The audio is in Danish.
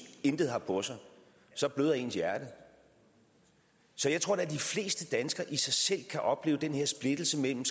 intet har på sig så bløder ens hjerte så jeg tror da at de fleste danskere i sig selv kan opleve den her splittelse mellem